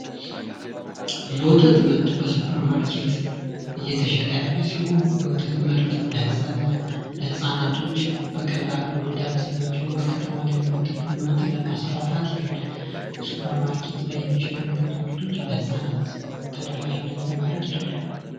የወተት ምርት በሱፐርማርኬት እየተሸጠ ያለ ሲሆን የወተት ምርት ለህፃናቶች በቀላሉ መዳረስ የማይችለዉን በከተማ ላይ የወተት ምርትን ለማስፋፋት ይረዳል። የወተት ምርት ለህናት በቀላሉ ለማዳረስ ይረዳል።